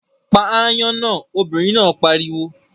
Pa aáyán náà, obìnrin náà pariwo!